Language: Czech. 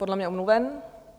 Podle mě omluven.